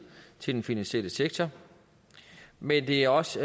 til den finansielle sektor men det er også